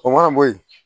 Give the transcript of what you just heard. O mana bɔ yen